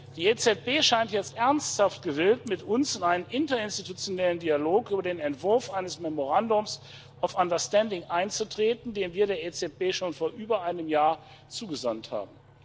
Die EZB scheint jetzt ernsthaft gewillt, mit uns in einen interinstitutionellen Dialog über den Entwurf eines memorandum of understanding einzutreten, den wir der EZB schon vor über einem Jahr zugesandt haben.